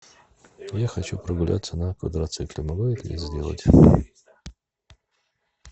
я хочу прогуляться на квадроцикле могу я это сделать